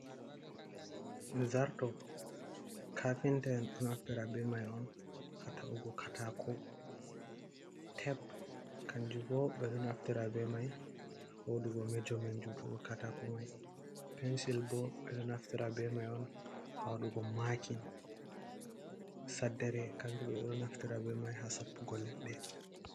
Zarto kafinta’en on naftira be mai on ha ta’ugo katako, teb kanjum bo ɓe ɗo naftira be mai ha waɗugo mejomen jutugo katako mai, pensil bo ɓe ɗo naftira be mai on ha wadugoe makin, saddere kanjum bo ɓe ɗo naftira be mai ha soppugo leɗɗe.